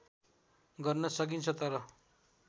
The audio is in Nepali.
गर्न सकिन्छ तर